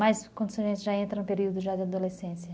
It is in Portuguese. Mas quando a gente já entra no período já de adolescência...